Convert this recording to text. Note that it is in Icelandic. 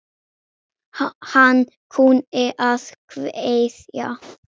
Hann kunni að kveðja.